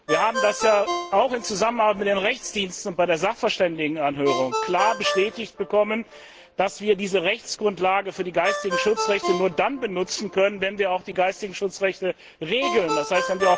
Wir haben ja auch in der Zusammenarbeit mit dem Juristischen Dienst und bei der Sachverständigenanhörung klar bestätigt bekommen, dass wir diese Rechtsgrundlage für die geistigen Schutzrechte nur dann benutzen können, wenn wir auch die geistigen Schutzrechte regeln, d. h.